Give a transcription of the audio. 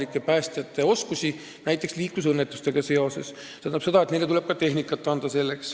Eks Päästeamet peab omad valikud tegema, aga selge on, et vabatahtlikele tuleb ka tehnikat anda.